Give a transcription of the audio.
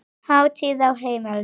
Hátíð á heimilinu